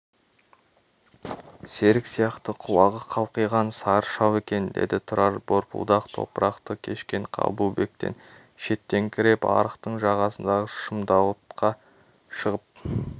серік сияқты құлағы қалқиған сары шал екен деді тұрар борпылдақ топырақты кешкен қабылбектен шеттеңкіреп арықтың жағасындағы шымдауытқа шығып